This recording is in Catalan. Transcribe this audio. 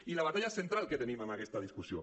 i la batalla central que tenim amb aquesta discussió